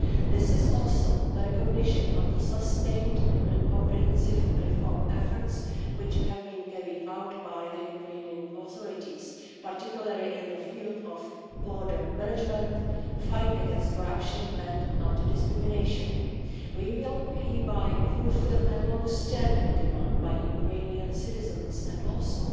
This is also the recognition of the sustained and comprehensive reform efforts which have been carried out by the Ukrainian authorities, particularly in the field of border management, the fight against corruption and anti discrimination. We will hereby fulfil a longstanding demand by Ukrainian citizens and also